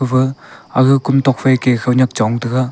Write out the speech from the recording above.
ba aga kam tokfai ke khawnyak chong taga.